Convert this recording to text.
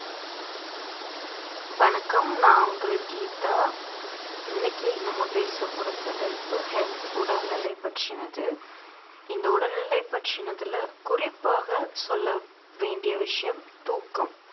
வணக்கம் நான் உங்கள் கீதா இன்னைக்கு நம்ம பேசப் பொறுத்த தலைப்பு health உடல்நிலை பற்றினது இந்த உடல்நிலை பற்றினதுல குறிப்பாக சொல்ல வேண்டிய விஷயம் தூக்கம்